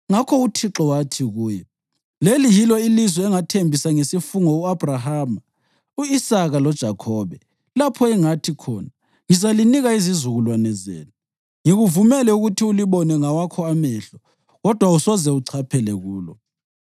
Ngakho uThixo wathi kuye, “Leli yilo ilizwe engathembisa ngesifungo u-Abhrahama, u-Isaka loJakhobe, lapho engathi khona, ‘Ngizalinika izizukulwane zenu.’ Ngikuvumele ukuthi ulibone ngawakho amehlo, kodwa awusoze uchaphele kulo.”